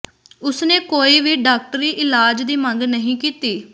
ਉਸ ਨੇ ਕੋਈ ਵੀ ਡਾਕਟਰੀ ਇਲਾਜ ਦੀ ਮੰਗ ਨਹੀਂ ਕੀਤੀ